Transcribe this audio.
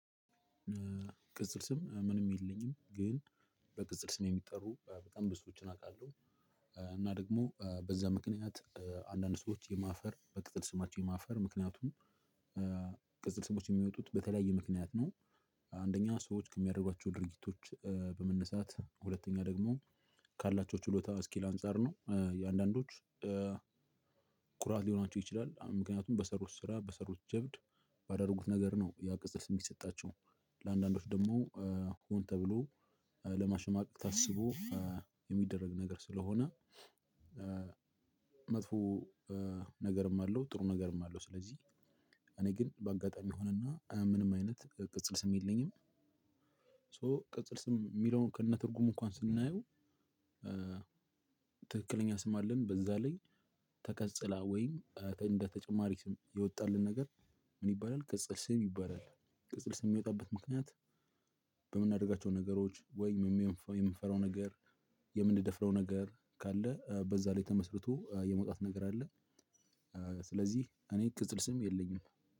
ቅጽል ስም ምንም የለኝም ግን በቅጽል ስም የሚጠሩ በጣም ብዙዎችን አውቃለሁ። እና ደግሞ በዛ ምክንያት አንዳንድ ሰዎች የማፈር በቅጽል ስማቸው የማፈር ምክንያቱም ስሞች የሚወጡት በተለያየ ምክንያት ነው። አንደኛ ሰዎች ከሚያደርጓቸው ድርጊቶች በመነሳት ሁለተኛ ደግሞ ካላቸው ችሎታ ስኪል አንፃር ነው። የአንዳንዶች ኩራት ሊሆናቸው ይችላል ምክንያቱም በሰሩት ስራ በሰሩት ጀብድ ባደረጉት ነገር ነው ያ ቅጽል ስም የሚሰጣቸው። ለአንዳንዶች ደግሞ ሆን ተብሎ ለማሸማቀቅ ታስቦ የሚደረግ ነገር ስለሆነ መጥፎ ነገርም አለው ጥሩ ነገርም አለው። ስለዚህ እኔ ግን በአጋጣሚ ሆነና ምንም አይነት ቅጽል ስም የለኝም። ሶ ቅጽል ስም የሚለውን ከነትርጉም እንኳን ስናየው። ትክክለኛ ስም አለን በዛ ላይ ተቀጽላ ወይም እንደ ተጨማሪ ስም የወጣልን ነገር ምን ይባላል? ቅጽል ስም ይባላል። ቅጽል ስም የሚወጣበት ምክንያት በምናደርጋቸው ነገሮች ወይ የምንፈራው ነገር የምንደፍረው ነገር ካለ በዛ ላይ ተመስርቶ የመውጣት ነገር አለ። ስለዚህ እኔ ቅጽል ስም የለኝም